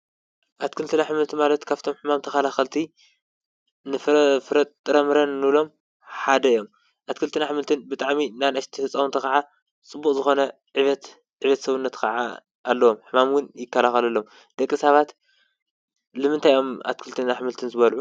ኣትክልትን ኣሕምልትን ማለት ካብቶም ሕማም ተኸላኸልቲ ፍረምረን እንብሎም ሓደ እዮም፡፡ ኣትክልትን ኣሕምልትን ብጣዕሚ ንኣናእሽቲ ህፃውንቲ ኸዓ ፅቡቕ ዝኾነ ዕብየት ሰውነት ኸዓ ኣለዎም፡፡ ሕማም ውን ይካልኸለሎም ደቂ ሳባት ልምንታይ እዮም ኣትክልትን ኣሕምልትን ዝበለዑ?